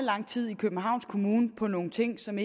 lang tid i københavns kommune på nogle ting som